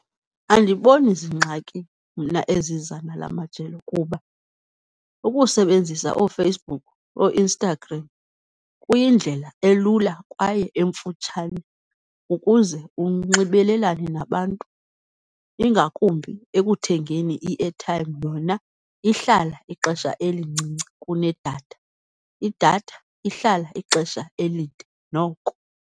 Andiboni zingxakini mna eziza nalamajelo kuba ukusebenzisa ooFacebook, ooInstagram kuyindlela elula kwaye emfutshane ukuze unxibelelane nabantu, ingakumbi ekuthengeni i-airtime. Yona ihlala ixesha elincinci kunedatha, idatha ihlala ixesha elide noko.